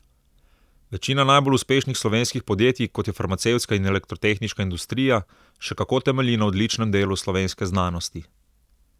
Večina najbolj uspešnih slovenskih podjetij, kot je farmacevtska in elektrotehniška industrija, še kako temelji na odličnem delu slovenske znanosti.